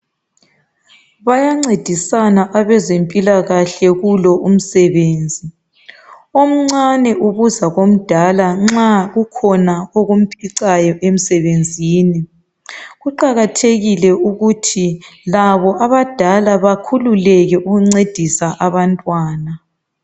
Bayangcedisana abezempilakahle kulo umsebenzi omncani ubuza komdala nxa kukhona okumphicayo emsebenzini kuqakathekile ukuthi labo abadala bakhululeke ukungcedisa abantwana